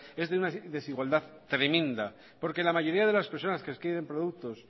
es de desigualdad tremenda porque la mayoría de personas que adquieren productos